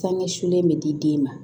Sangɛ sulen bɛ di den ma